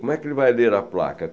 Como é que ele vai ler a placa?